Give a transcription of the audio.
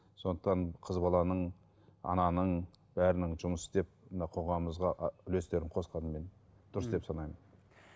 сондықтан қыз баланың ананың бәрінің жұмыс істеп мына қоғамымызға ы үлестерін қосқанын мен дұрыс деп санаймын